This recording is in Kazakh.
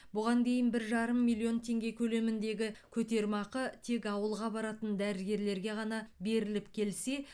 бұған дейін бір жарым миллион теңге көлеміндегі көтерме ақы тек ауылға баратын дәрігерлерге ғана беріліп келсе